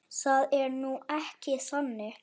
Það er nú ekki þannig.